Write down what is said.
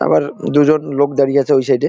আবার দুজন লোক দাঁড়িয়ে আছে ওই সাইড -এ।